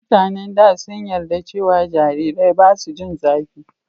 mutanen da sun yarda cewa jariri basu jin zafi